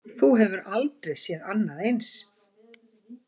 Þú hefur aldrei séð annað eins?